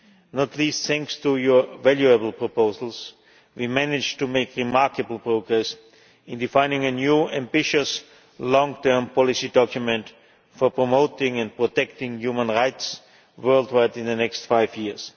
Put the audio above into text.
Not least thanks to your valuable proposals, we managed to make remarkable progress in defining a new, ambitious, long term policy document for promoting and protecting human rights worldwide in the next five years.